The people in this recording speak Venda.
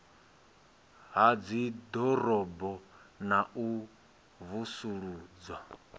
ha dziḓorobo na u vusuludzwa